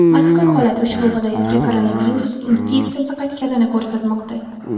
Mazkur holat ushbu viloyatga koronavirus infeksiyasi qaytganini ko‘rsatmoqda.